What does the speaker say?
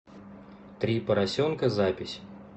три поросенка запись